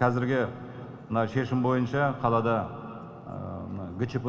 қазіргі мына шешім бойынша қалада мына гчп